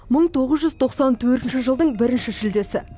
мың тоғыз жүз тоқсан төртінші жылдың бірінші шілдесі